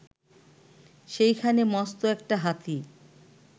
সেইখানে মস্ত একটা হাতি